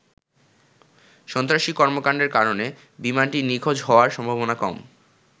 সন্ত্রাসী কর্মকাণ্ডের কারণে বিমানটির নিখোঁজ হওয়ার সম্ভাবনা কম।